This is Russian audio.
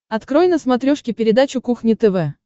открой на смотрешке передачу кухня тв